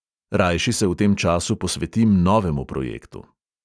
Rajši se v tem času posvetim novemu projektu.